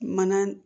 Mana